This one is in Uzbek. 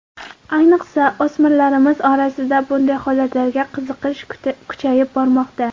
Ayniqsa, o‘smirlarimiz orasida bunday holatlarga qiziqish kuchayib bormoqda.